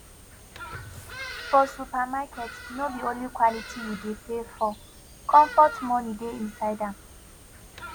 for supermarket no be only quality you dey pay for comfort moni um dey inside am